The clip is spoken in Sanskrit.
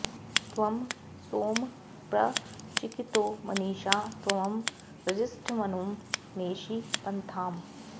त्वं सो॑म॒ प्र चि॑कितो मनी॒षा त्वं रजि॑ष्ठ॒मनु॑ नेषि॒ पन्था॑म्